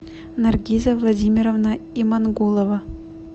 наргиза владимировна имангулова